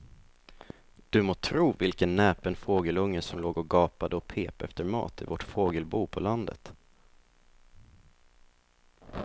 Du må tro vilken näpen fågelunge som låg och gapade och pep efter mat i vårt fågelbo på landet.